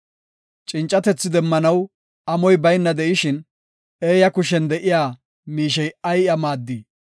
Cincatethi demmanaw amoy bayna de7ishin, eeya kushen de7iya miishey ay iya maaddii?